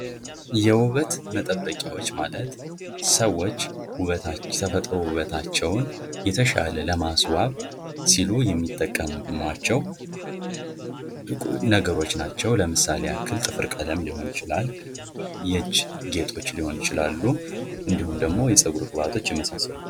የውበት መጠበቂያዎች ማለት ሰዎች የተፈጥሮ ውበታቸውን የተሻለ ለማስዋብ ሲሉ የሚጠቀሟቸው ነገሮች ናቸው። ለምሳሌ ያክል ጥፍር ቀለም ሊሆን ይችላል የእጅ ጌጦች ሊሆኑ ይችላሉ እንዲሁም ደሞ የፀጉር ቅባቶች የመሳሰሉት።